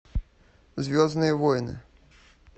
звездные войны